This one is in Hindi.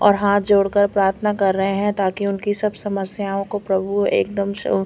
और हाथ जोड़ के प्राथना कर रहे है ताकि उनकी सब समस्याओ को प्रभु एक दम श--